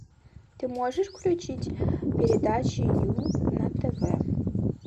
ты можешь включить передачи ю на тв